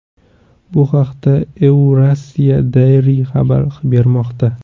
Bu haqda Eurasia Diary xabar bermoqda .